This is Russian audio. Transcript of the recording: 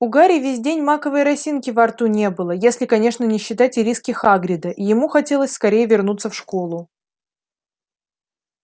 у гарри весь день маковой росинки во рту не было если конечно не считать ириски хагрида и ему хотелось скорей вернуться в школу